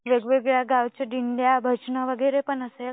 वेगवेगळ्या गावचे दिंड्या भजनं वैगेरे पण असेल